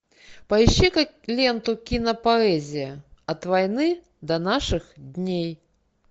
поищи ка ленту кинопоэзия от войны до наших дней